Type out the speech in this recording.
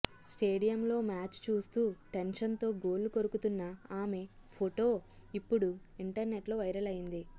స్టేడియంలో మ్యాచ్ చూస్తూ టెన్షన్తో గోళ్లు కొరుకుతున్న ఆమె ఫొటో ఇప్పుడు ఇంటర్నెట్లో వైరల్ అయింది